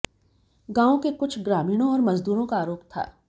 गांव के कुछ ग्रामीणों और मजदूरों का आरोप था